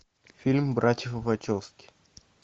фильм братьев вачовски